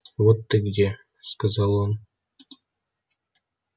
вот ты где сказал он